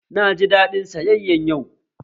Na ji daɗin sayayyan yau